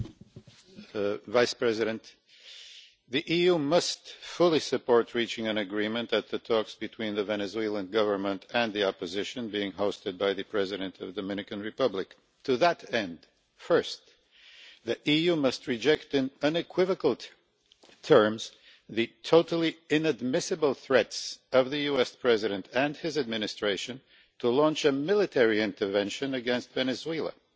Mr President, the EU must put its full support behind reaching an agreement at the talks between the Venezuelan Government and the opposition being hosted by the president of the Dominican Republic. To that end, first the EU must reject in unequivocal terms the totally inadmissible threats by the US President and his administration to launch a military intervention against Venezuela